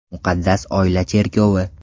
Muqaddas oila cherkovi.